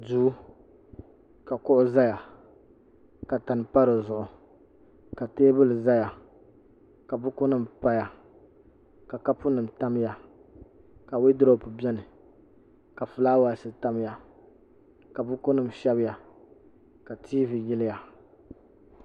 duu ka kuɣu ʒɛya ka tani pa dizuɣu ka teebuli ʒɛya ka buku nim paya ka kapu nim tamya ka wooldurob biɛni ka fulaawaasi tamya ka buku nim shɛbiya ka tiivi yiliya